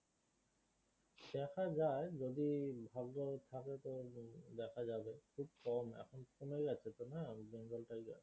দেখা যাই যদি ভাগ্য থাকে তো দেখা যাবে খুব কম এখন তো কমে গেছে তো না bengal tiger